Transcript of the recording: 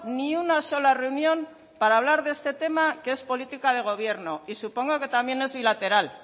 ni una sola reunión para hablar de este tema que es política de gobierno y supongo que también es bilateral